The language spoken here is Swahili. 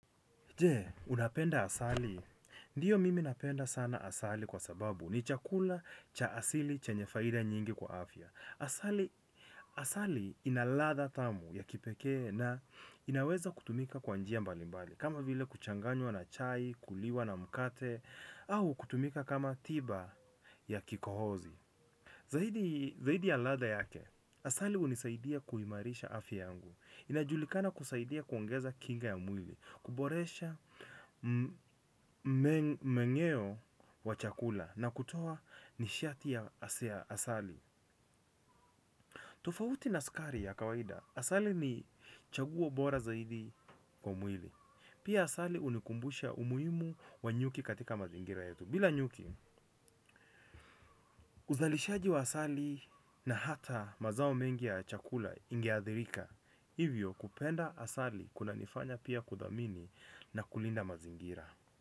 Je, unapenda asali? Ndiyo mimi napenda sana asali kwa sababu. Ni chakula cha asili chenye faida nyingi kwa afya. Asali. Asali ina ladha tamu ya kipekee na inaweza kutumika kwa njia mbali mbali. Kama vile kuchanganywa na chai, kuliwa na mkate, au kutumika kama tiba ya kikohozi. Zaidii Zaidi ya ladha yake, asali hunisaidia kuimarisha afya yangu. Inajulikana kusaidia kuongeza kinga ya mwili, kuboresha mengeo wa chakula na kutoa nishati ya asali. Tofauti na sukari ya kawaida, asali ni chaguo bora zaidi kwa mwili. Pia asali hunikumbusha umuhimu wa nyuki katika mazingira yetu. Bila nyuki, uzalishaji wa asali na hata mazao mengi ya chakula inge athirika. Hivyo kupenda asali kunanifanya pia kudhamini na kulinda mazingira.